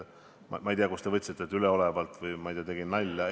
Ma ei tea, kust te võtsite, et ma vastasin üleolevalt või, ma ei tea, tegin nalja.